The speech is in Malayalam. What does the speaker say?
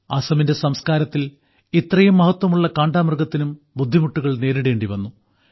അസാമിന്റെ സംസ്കാരത്തിൽ ഇത്രയും മഹത്വമുള്ള കാണ്ടാമൃഗത്തിനും ബുദ്ധിമുട്ടുകൾ നേരിടേണ്ടിവന്നു